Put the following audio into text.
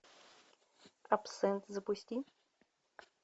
абсент запусти